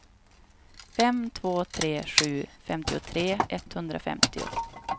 fem två tre sju femtiotre etthundrafemtio